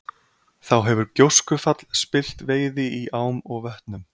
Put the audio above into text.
þá hefur gjóskufall spillt veiði í ám og vötnum